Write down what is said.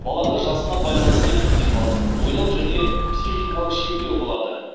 балада жасына байланысты физикалық ойлау және психикалық шектеу болады